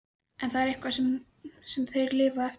En er það eitthvað sem þeir lifa eftir?